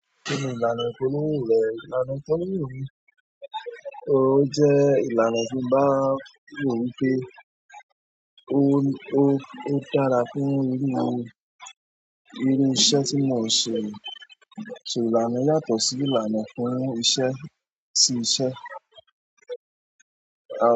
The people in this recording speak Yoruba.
Kini ìlànà ìpolówó rẹ̀, ìlànà ìpolówó mi, ó jẹ́ ìlànà tí ń bá wò wípé ó, ó dára fún irú irú iṣẹ́ tí mò ń ṣe. Ṣò ìlànà yàtọ̀ sí ìlànà fún iṣẹ́ sí iṣẹ́?